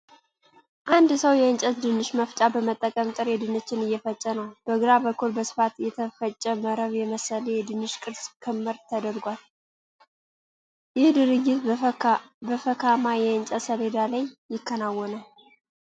አንድ ሰው የእንጨት ድንች መፍጫ በመጠቀም ጥሬ ድንችን እየፈጨ ነው። በግራ በኩል በስፋት የተፈጨ መረብ የመሰለ የድንች ቅርጽ ክምር ተደርጓል። ይህ ድርጊት በፈካማ የእንጨት ሰሌዳ ላይ ይከናወናል።